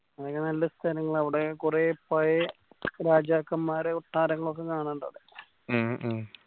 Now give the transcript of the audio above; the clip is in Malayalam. നല്ല സ്ഥലങ്ങളാ അവിടെ കുറെ പഴയേ രാജാക്കന്മാരെ കൊട്ടാരങ്ങളൊക്കെ കാണാൻ ഇണ്ടവിടെ ഉം